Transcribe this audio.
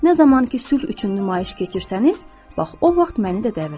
Nə zaman ki sülh üçün nümayiş keçirsəniz, bax o vaxt məni də dəvət edin.